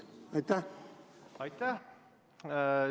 Aitäh!